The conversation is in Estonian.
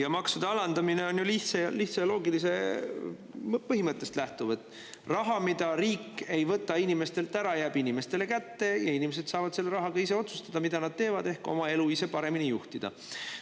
Ja maksude alandamine on ju lihtsa ja loogilise põhimõttest lähtuv, et raha, mida riik ei võta inimestelt ära, jääb inimestele kätte, inimesed saavad selle rahaga ise otsustada, mida nad teevad, ehk oma elu ise paremini juhtida.